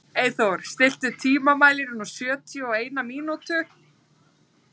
Eyþór, stilltu tímamælinn á sjötíu og eina mínútur.